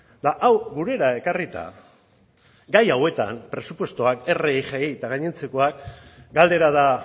eta hau gurera ekarrita gai hauetan presupuestoak rgi eta gainontzekoak galdera da